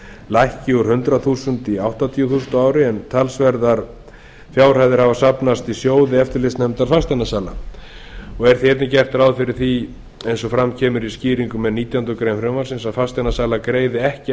lækki úr hundrað þúsund krónur í áttatíu þúsund krónur á ári en talsverðar fjárhæðir hafa safnast í sjóði eftirlitsnefndar fasteignasala er því einnig gert ráð fyrir því eins og fram kemur í skýringum með nítjánda grein frumvarpsins að fasteignasalar greiði ekki